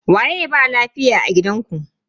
Waye ba lafiya a gidanku?